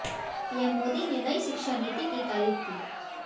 PM Modi ने नई शिक्षा नीति की तारीफ की